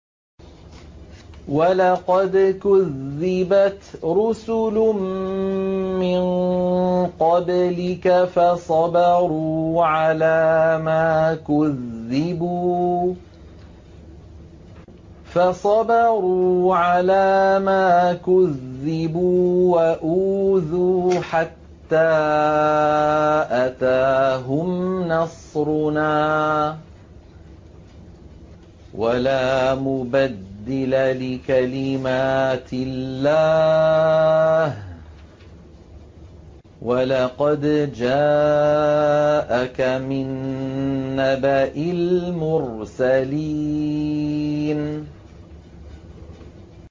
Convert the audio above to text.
وَلَقَدْ كُذِّبَتْ رُسُلٌ مِّن قَبْلِكَ فَصَبَرُوا عَلَىٰ مَا كُذِّبُوا وَأُوذُوا حَتَّىٰ أَتَاهُمْ نَصْرُنَا ۚ وَلَا مُبَدِّلَ لِكَلِمَاتِ اللَّهِ ۚ وَلَقَدْ جَاءَكَ مِن نَّبَإِ الْمُرْسَلِينَ